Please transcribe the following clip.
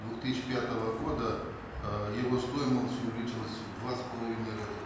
две тысячи пятого года э его стоимость увеличилась в два с половиной раза